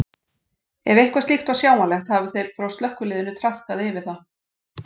Ef eitthvað slíkt var sjáanlegt hafa þeir frá slökkviliðinu traðkað yfir það.